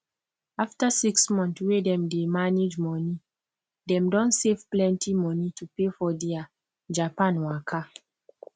after six month wey dem dey manage money dem don save plenty money to pay for dia japan waka